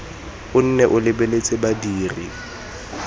o nne o lebeletse badiri